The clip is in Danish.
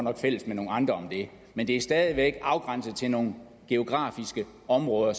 er fælles med nogle andre om det men det er stadig væk afgrænset til nogle geografiske områder